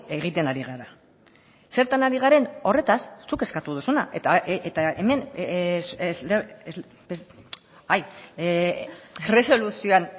egiten ari gara zertan ari garen horretaz zuk eskatu duzuna eta hemen erresoluzioan